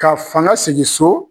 Ka fanga segin so